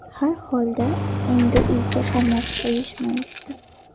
Har holda, endi uyga qamab qo‘yishmayapti.